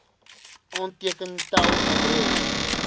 aanteken tel adres